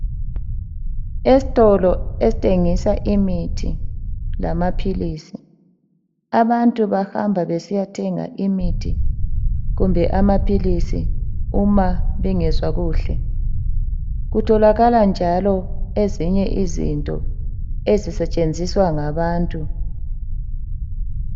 Estolo esithengisa imithi lamaphilisi. Abantu bahamba besiyathenga imithi kumbe amaphilisi uma bengezwa kuhle. Kutholakala njalo ezinye izinto ezisetshenziswa ngabantu